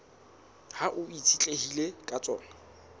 hao e itshetlehileng ka tsona